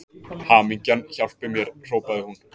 Hamingjan hjálpi mér hrópaði hún.